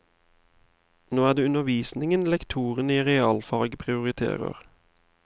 Nå er det undervisningen lektoren i realfag prioriterer.